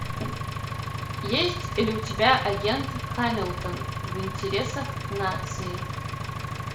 есть ли у тебя агент хамилтон в интересах нации